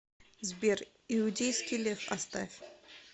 сбер иудейский лев оставь